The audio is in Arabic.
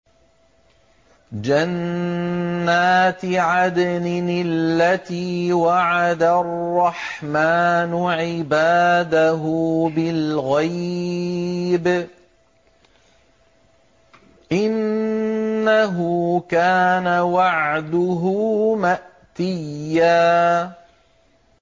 جَنَّاتِ عَدْنٍ الَّتِي وَعَدَ الرَّحْمَٰنُ عِبَادَهُ بِالْغَيْبِ ۚ إِنَّهُ كَانَ وَعْدُهُ مَأْتِيًّا